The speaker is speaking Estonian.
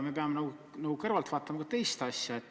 Me peame kõrvalt vaatama ka teist asja.